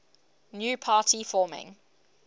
new party forming